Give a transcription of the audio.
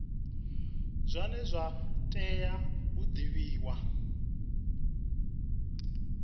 zwine zwa tea u divhiwa